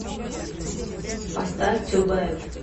поставь ту бэд